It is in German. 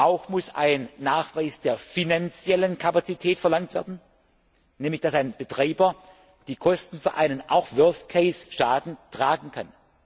Auch muss ein Nachweis der finanziellen Kapazität verlangt werden, nämlich dass ein Betreiber auch die Kosten für einen Worst Case Schaden tragen kann.